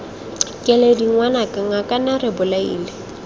keledi ngwanaka ngakane re bolaile